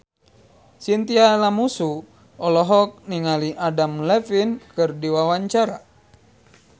Chintya Lamusu olohok ningali Adam Levine keur diwawancara